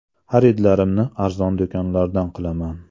Xaridlarimni arzon do‘konlardan qilaman.